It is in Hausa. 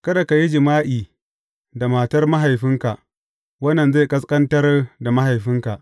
Kada ka yi jima’i da matar mahaifinka, wannan zai ƙasƙantar da mahaifinka.